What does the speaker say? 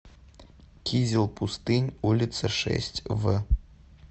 кизел пустынь улица шесть в